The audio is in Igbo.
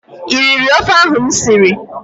I riri ofe ahụ m siri?